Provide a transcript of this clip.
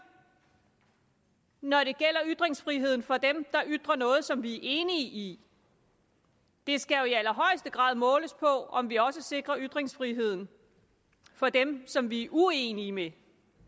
når det gælder ytringsfriheden for dem der ytrer noget som vi er enige i det skal jo i allerhøjeste grad måles på om vi også sikrer ytringsfriheden for dem som vi er uenige med